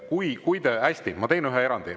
Hästi, ma teen ühe erandi.